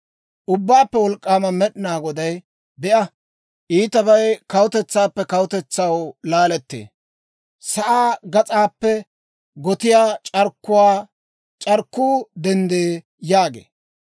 Ubbaappe Wolk'k'aama Med'inaa Goday, «Be'a, iitabay kawutetsaappe kawutetsaw laalettee; sa'aa gas'aappe gotiyaa c'arkkuu denddee» yaagee.